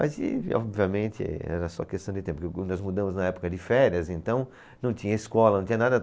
Mas e, obviamente era só questão de tempo, porque nós mudamos na época de férias, então não tinha escola, não tinha nada.